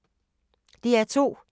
DR2